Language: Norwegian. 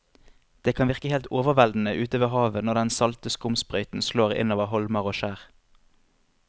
Det kan virke helt overveldende ute ved havet når den salte skumsprøyten slår innover holmer og skjær.